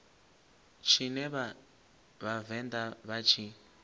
tshine vha vhavenḓa vha tshi